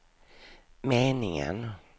meningen